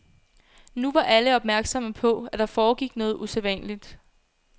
Nu var alle opmærksomme på, at der foregik noget usædvanligt.